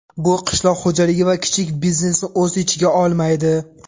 Bu qishloq xo‘jaligi va kichik biznesni o‘z ichiga olmaydi.